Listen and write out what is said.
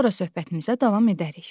Sonra söhbətimizə davam edərik.